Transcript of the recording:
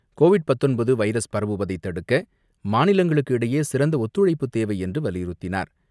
Covid பத்தொன்பது virus பரவுவதை தடுக்க மாநிலங்களுக்கிடையே சிறந்த ஒத்துழைப்பு தேவை என்று வலியுறுத்தினார்.